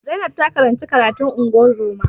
Zainab ta karanci karatun ungozoma